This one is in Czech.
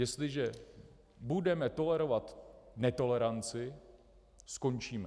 Jestliže budeme tolerovat netoleranci, skončíme.